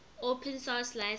open source license